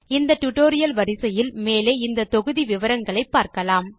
இந்த டியூட்டோரியல் வரிசையில் மேலே இந்த தொகுதி விவரங்களை பார்க்கலாம்